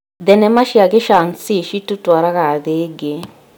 Thenema cia gĩcanci citũtũraga thĩ ĩngĩ.